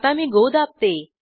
आता मी गो दाबते